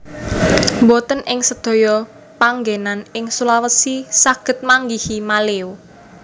Mboten ing sedaya panggénan ing Sulawesi saged manggihi maleo